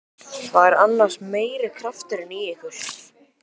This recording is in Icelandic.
Það er annars meiri krafturinn í ykkur.